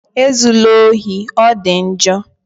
E zula ohi, ọ dị njọ!